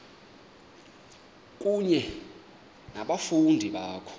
kunye nabafundi bakho